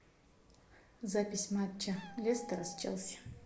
запись матча лестера с челси